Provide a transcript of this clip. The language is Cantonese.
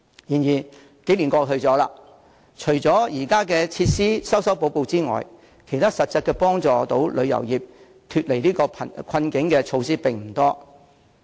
然而，數年過去了，除了就現有設施作出修補之外，其他能實質有助旅遊業擺脫困境的措施並不多。